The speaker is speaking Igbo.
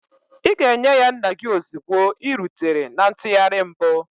Ị ga-enye ya nna gị ozugbo ị rutere na ntụgharị mbụ.